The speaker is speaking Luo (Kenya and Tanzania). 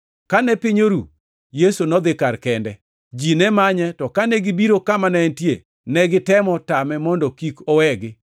Kane piny oru, Yesu nodhi kar kende. Ji ne manye to kane gibiro kama ne entie, negitemo tame mondo kik owegi.